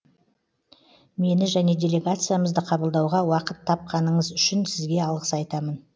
мені және делегациямызды қабылдауға уақыт тапқаныңыз үшін сізге алғыс айтамын